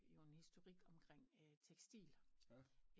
Jo en historik omkring tekstil